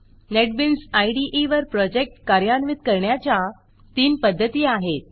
NetBeans इदे वर project कार्यान्वित करण्याच्या तीन पध्दती आहेत